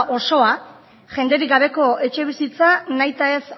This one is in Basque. osoa jenderik gabeko etxebizitza nahita ez